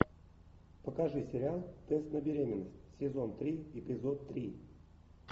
покажи сериал тест на беременность сезон три эпизод три